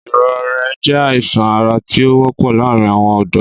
Ìrõré jé àísán árá ti ó wõpõ làárin awõn õdõ